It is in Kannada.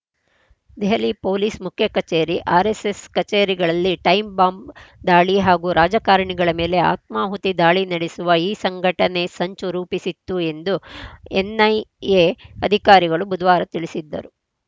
ದೆಹಲಿ ಪೊಲೀಸ್‌ ಮುಖ್ಯ ಕಚೇರಿ ಆರೆಸ್ಸೆಸ್‌ ಕಚೇರಿಗಳಲ್ಲಿ ಟೈಂ ಬಾಂಬ್‌ ದಾಳಿ ಹಾಗೂ ರಾಜಕಾರಣಿಗಳ ಮೇಲೆ ಆತ್ಮಾಹುತಿ ದಾಳಿ ನಡೆಸುವ ಈ ಸಂಘಟನೆ ಸಂಚು ರೂಪಿಸಿತ್ತು ಎಂದು ಎನ್‌ಐಎ ಅಧಿಕಾರಿಗಳು ಬುಧವಾರ ತಿಳಿಸಿದ್ದರು